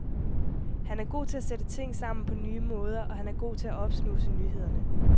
Han er god til at sætte ting sammen på nye måder, og han er god til at opsnuse nyhederne.